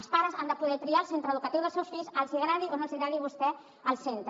els pares han de poder triar el centre educatiu dels seus fills els agradi o no els agradi a vostès el centre